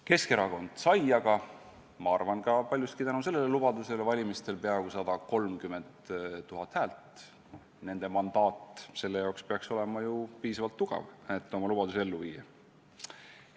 Keskerakond sai aga, ma arvan, ka paljuski tänu sellele lubadusele valimistel peaaegu 130 000 häält, nende mandaat peaks olema ju piisavalt tugev selle jaoks, et oma lubadusi ellu viia.